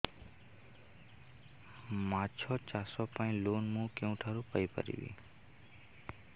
ମାଛ ଚାଷ ପାଇଁ ଲୋନ୍ ମୁଁ କେଉଁଠାରୁ ପାଇପାରିବି